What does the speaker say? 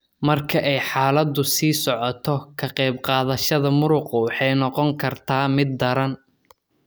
Marka ay xaaladdu sii socoto ka qayb qaadashada muruqa waxay noqon kartaa mid daran.